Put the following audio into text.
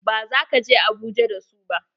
Ba za ka je Abuja da su ba!